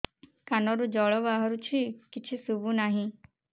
କାନରୁ ଜଳ ବାହାରୁଛି କିଛି ଶୁଭୁ ନାହିଁ